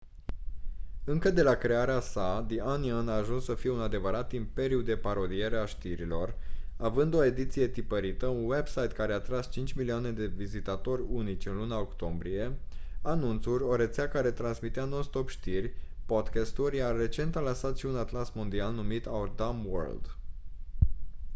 încă de la crearea sa the onion a ajuns să fie un adevărat imperiu de parodiere a știrilor având o ediție tipărită un website care a atras 5.000.000 de vizitatori unici în luna octombrie anunțuri o rețea care transmitea non stop știri podcast-uri iar recent a lansat și un atlas mondial numit our dumb world